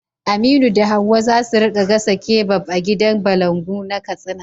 Aminu da Hawwa za su rika gasa kebab a gidan balangu na Katsina.